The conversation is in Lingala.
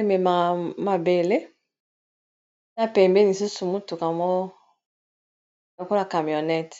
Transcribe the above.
ememaka mabele ya pembeni lisusu mutuka moko lokola camionnete.